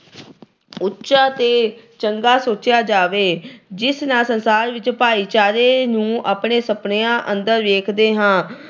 ਉਚਾ ਤੇ ਚੰਗਾ ਸੋਚਿਆ ਜਾਵੇ ਜਿਸ ਨਾਲ ਸੰਸਾਰ ਵਿੱਚ ਭਾਈਚਾਰੇ ਨੂੰ ਆਪਣੇ ਸੁਪਨਿਆਂ ਅੰਦਰ ਵੇਖਦੇ ਹਾਂ।